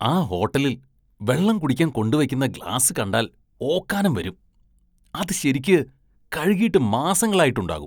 ആ ഹോട്ടലില്‍ വെള്ളം കുടിക്കാന്‍ കൊണ്ടുവെയ്ക്കുന്ന ഗ്ലാസ് കണ്ടാല്‍ ഓക്കാനും വരും, അത് ശരിക്ക് കഴുകിയിട്ട് മാസങ്ങളായിട്ടുണ്ടാകും.